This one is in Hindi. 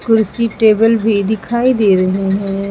कुर्सी टेबल भी दिखाई दे रहे हैं।